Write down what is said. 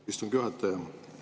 Aitäh, istungi juhataja!